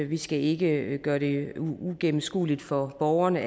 vi skal ikke gøre det uigennemskueligt for borgerne